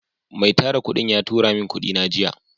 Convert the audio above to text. Mai Tara kudin ya turamin kudina jiya.